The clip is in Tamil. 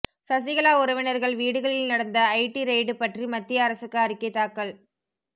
சசிகலா உறவினர்கள் வீடுகளில் நடந்த ஐடி ரெய்டு பற்றி மத்திய அரசுக்கு அறிக்கை தாக்கல்